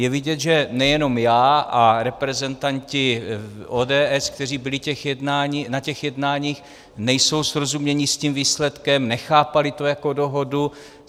Je vidět, že nejenom já a reprezentanti ODS, kteří byli na těch jednáních, nejsou srozuměni s tím výsledkem, nechápali to jako dohodu.